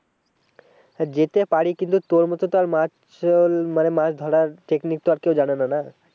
হ্যাঁ যেতে পারি কিন্তু তোর মতো তো আর মাছ আহ মানে মাছ ধরার technique তো আর কেউ জানেনা না।